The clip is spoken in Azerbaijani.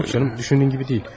Yox canım, düşündüyün kimi deyil.